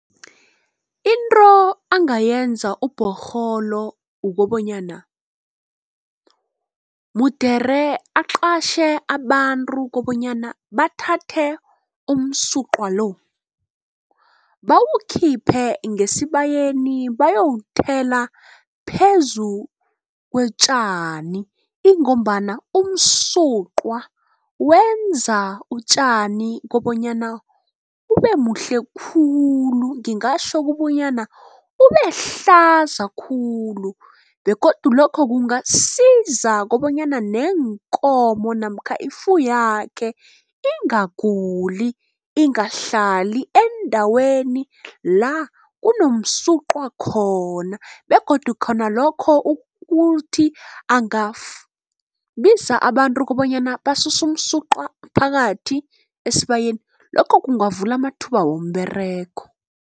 Into angayenza uBhorholo kukobanyana mude aqatjhe abantu kobanyana bathathe umsuqwa lo. Bawukhiphe ngesibayeni bayowuthela phezu kotjani ingombana umsuqwa wenza utjani kobonyana bubebuhle khulu ngingatjho kubonyana bubehlaza khulu begodu lokho kungasiza kobanyana neenkomo namkha ifuywakhe, ingaguli ingahlali endaweni la kunomsuqwa khona begodu khona lokho ukuthi angabiza abantu kobanyana basese umsuqwa phakathi esibayeni. Lokho kungavula amathuba womberego.